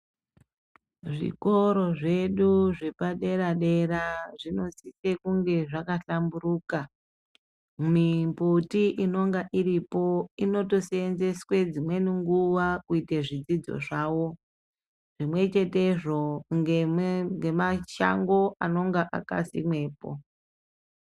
Zvikoro zvedu zvepadera-dera, zvinosise kunge zvakahlamburuka mimbuti inonga iripo inotoseenzeswe dzimwe nguwa kuite zvidzidzo zvavo, zvimwechetezvo ngemashango anenge akasimwepo.